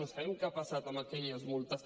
no sabem què ha passat amb aquelles multes